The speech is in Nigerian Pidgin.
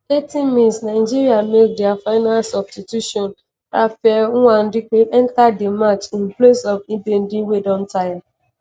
80 mins - nigeria make dia final substitution: raphael nwadike enta di match in place of ndidi wey don taya.